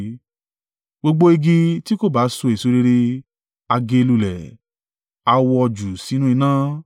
Gbogbo igi tí kò bá so èso rere, a gé e lulẹ̀, à wọ́ ọ jù sínú iná.